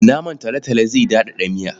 Naman talotalo zai daɗaɗa miya.